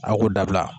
A k'u dabila